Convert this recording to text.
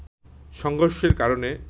সংঘর্ষের কারণে